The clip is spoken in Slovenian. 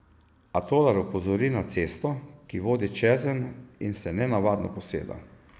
A Tolar opozori na cesto, ki vodi čezenj in se nenavadno poseda.